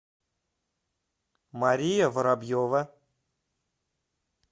мария воробьева